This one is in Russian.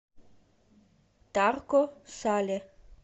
тарко сале